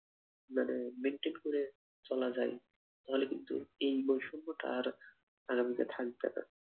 মানে maintain করে চলা যায় তাহলে কিন্তু এই বৈষম্যটা আর আগামীতে থাকবে না।